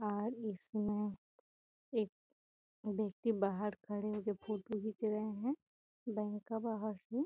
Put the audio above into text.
और इसमें एक व्यक्ति बहार खड़े होके फोटो खींचे रहे हैं बैंक का बहार से।